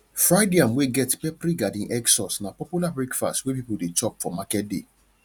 fried yam wey get peppery garden egg sauce na popular breakfast wey people dey chop for market day